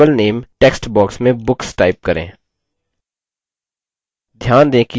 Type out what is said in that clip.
table name text box में books type करें